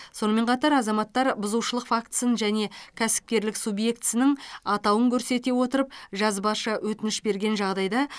сонымен қатар азаматтар бұзушылық фактісін және кәсіпкерлік субъектісінің атауын көрсете отырып жазбаша өтініш берген жағдайда